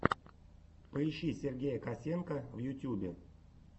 поищи сергея косенко в ютюбе